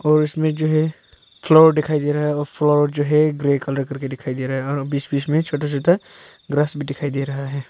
और इसमें जो है फ्लोर दिखाई दे रहा है और फ्लोर जो है ग्रे कलर करके दिखाई दे रहा है और बीच बीच में छोटा छोटा ग्रास भी दिखाई दे रहा है।